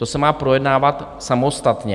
To se má projednávat samostatně.